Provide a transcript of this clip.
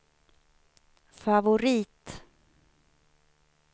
favorit